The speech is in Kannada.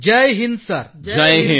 ಎಲ್ಲ ಎನ್ ಸಿ ಸಿ ಕೆಡೆಟ್ಸ್ ಗಳು ಜೈ ಹಿಂದ್ ಸರ್